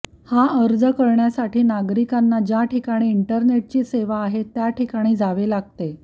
हा अर्ज करण्यासाठी नागिरकांना ज्या ठिकाणी इंटरनेटची सेवा आहे त्या ठिकाणी जावे लागते